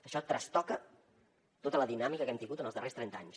això trastoca tota la dinàmica que hem tingut en els darrers trenta anys